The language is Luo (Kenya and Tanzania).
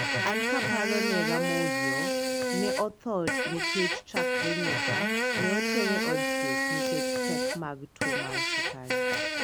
an kaparo nera Mouzaoir, ne otho nikech chakre nyocha ne otere od thieth nikech pek mag tuo mar sukari.